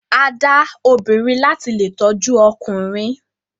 A da obìrin lati lè tọjú ọkùnrin.